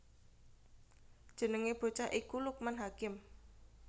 Jenengé bocah iku Lukman Hakim